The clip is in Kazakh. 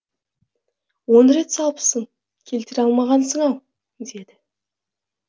он рет салыпсың келтіре алмағансың ау деді